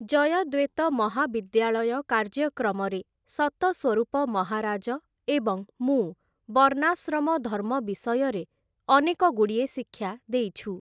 ଜୟଦ୍ୱେତ ମହାବିଦ୍ୟାଳୟ କାର୍ଯ୍ୟକ୍ରମରେ ସତସ୍ଵରୂପ ମହାରାଜ ଏବଂ ମୁଁ ବର୍ଣ୍ଣାଶ୍ରମ ଧର୍ମ ବିଷୟରେ ଅନେକଗୁଡ଼ିଏ ଶିକ୍ଷା ଦେଇଛୁ ।